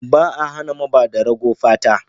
Ba a hana mabada rago fata.